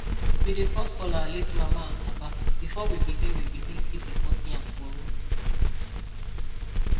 we dey first call our late mama and papa before we begin we begin keep the first yam for room